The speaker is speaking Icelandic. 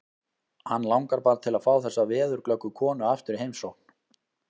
Hann langar bara til að fá þessa veðurglöggu konu aftur í heimsókn.